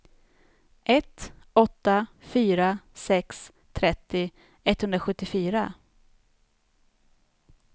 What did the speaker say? ett åtta fyra sex trettio etthundrasjuttiofyra